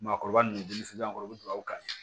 Maakɔrɔba nunnu kɔrɔ u be dugawu kan ye